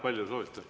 Kui palju soovite?